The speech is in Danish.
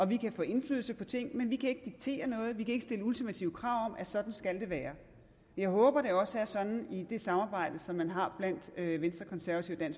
vi kan få indflydelse på ting men vi kan ikke diktere noget vi kan ikke stille ultimative krav om at sådan skal det være jeg håber at det også er sådan i det samarbejde som man har blandt venstre konservative og